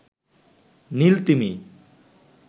নীল তিমি